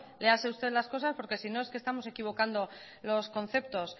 léase usted las cosas porque si no es que estamos equivocando los conceptos